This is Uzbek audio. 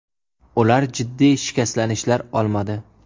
Ular jiddiy shikastlanishlar olmadi.